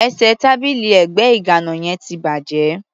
Ẹsẹ̀ tábìlì ẹ̀gbẹ́ ìgàná yẹn ti bàjẹ́.